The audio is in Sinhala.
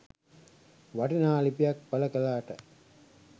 වටිනා ලිපියක් පල කලාට